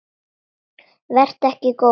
Vertu ekki góður.